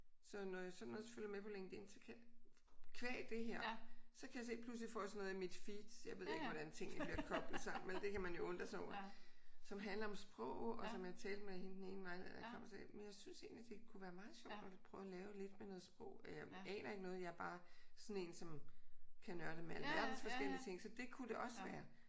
Så når jeg sådan også følger med på LinkedIn så kan qua det her så kan jeg se pludselig får jeg sådan noget i mit feed. Jeg ved ikke hvordan tingene bliver koblet sammen vel? Det kan man jo undre sig over. Som handler om sprog og som jeg talte med hende den ene vejleder der kom og sagde jamen jeg synes egentlig det kunne være meget sjovt at prøve at lave lidt med noget sprog. Jeg aner ikke noget. Jeg er bare sådan en som kan nørde med alverdens forskellige ting. Så det kunne det også være